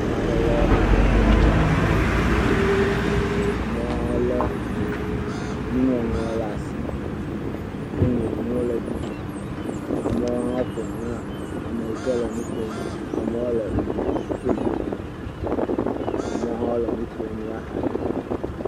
Ame aɖe le mɔƒonu ɖe asi le ʋli dom. Amewo hã le enuŋɔŋlɔ ɖe asi woŋlɔ nuwo ɖe edzi. Amewo hã woƒoxla ame yi ke le nu ƒom. Amewo le foto ɖem. Amewo hã wole nuƒom le axadzi.